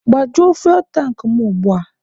Gbajuo fuwel tankị mụ ugbua!